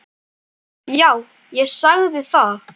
Já, ég sagði það.